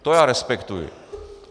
To já respektuji.